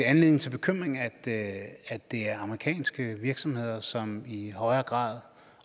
anledning til bekymring at at det er amerikanske virksomheder som i højere grad